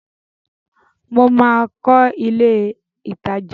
Mo máa kọ́ ilé ìtajà.